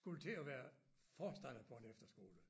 Skulle til at være forstander på en efterskole